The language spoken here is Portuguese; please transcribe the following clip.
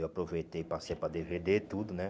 Eu aproveitei e passei para dê vê dê, tudo, né?